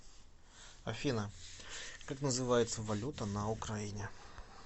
афина как называется валюта на украине